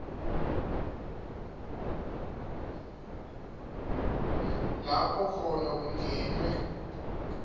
lapho khona kungenwe